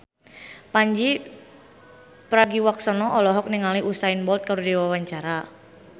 Pandji Pragiwaksono olohok ningali Usain Bolt keur diwawancara